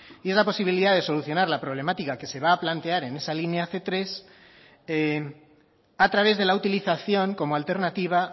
y otra posibilidad de solucionar la problemática que se va a plantear en esa línea cien tres a través de la utilización como alternativa